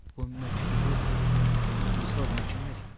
Bu məktubu Xrisoqon kim verib?